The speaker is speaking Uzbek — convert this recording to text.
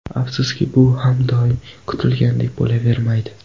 Afsuski, bu ham doim kutilganidek bo‘lavermaydi.